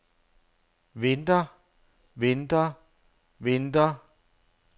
venter venter venter